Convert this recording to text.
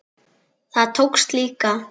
Það tókst líka.